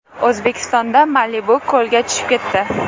O‘zbekistonda Malibu ko‘lga tushib ketdi .